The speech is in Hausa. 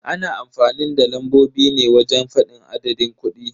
Ana amfanin da lambobi ne wajen fadin adadin kudi.